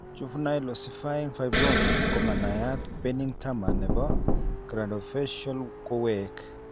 Juvenile ossifying fibroma komanaiyat bening tumor nebo craniofacial kowek